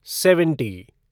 seventy